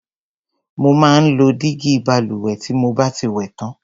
Mo máa ń lo dígí balùwẹ̀ tí mo bá ti wẹ̀ tán.